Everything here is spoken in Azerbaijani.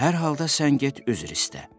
Hər halda sən get, üzr istə.